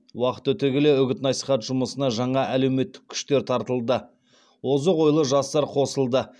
уақыт өте келе үгіт насихат жұмысына жаңа әлеуметтік күштер тартылды озық ойлы жастар қосылды